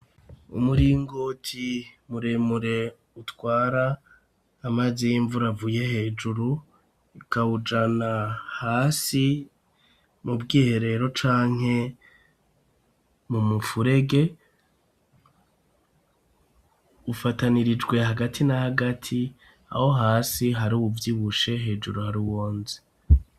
Umuringoti muremure utwara amazi y'imvura avuye hejuru akawujana hasi mu bwiherero canke mu mufurege ufatanirijwe hagati na hagati aho hasi hari uwuvyibushe hejuru hari uwonze.